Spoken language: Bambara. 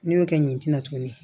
N'i y'o kɛ nin tin na tuguni